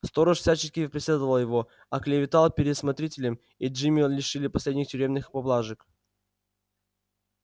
сторож всячески преследовал его оклеветал перед смотрителем и джима лишили последних тюремных поблажек